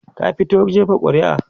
ka fito jefa ƙuri'a?